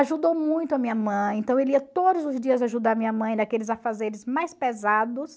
Ajudou muito a minha mãe, então ele ia todos os dias ajudar a minha mãe naqueles afazeres mais pesados.